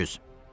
300!